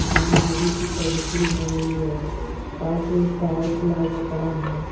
यहां गाड़ी की सर्विसिंग हो रही है पास में एक टायर खुला हुआ पड़ा है।